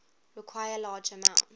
require large amounts